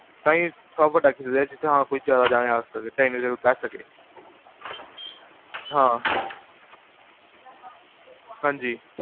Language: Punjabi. ਤਾਹੀ ਵੱਡਾ ਖਰੀਦਾ, ਜਿਥੇ ਹਾਂ ਕੋਈ ਜਾਦਾ ਜਾਨੇ ਆ ਸਕਣ ਇੰਨੇ ਜਣੇ ਬੇਹ ਸਕਣ ਹਾਂ, ਹਾਂਜੀ